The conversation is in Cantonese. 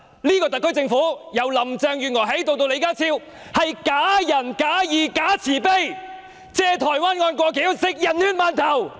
這個特區政府，由林鄭月娥至李家超都是假仁假義、假慈悲，藉台灣案"過橋"，他們是吃人血饅頭。